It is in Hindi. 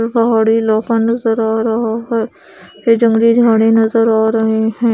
पहाड़ी इलाका नजर आ रहा है जंगली झाडे नजर आ रहे है।